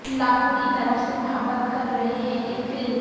لاکھوں کی طرف سے محبت کر رہے ہیں کہ فلم